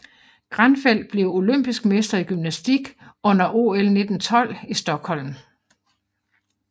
Granfelt blev olympisk mester i gymnastik under OL 1912 i Stockholm